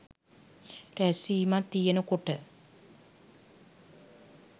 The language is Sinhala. රැස්වීමක් තියනකොට.